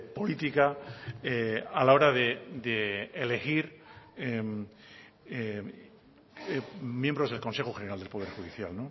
política a la hora de elegir miembros del consejo general del poder judicial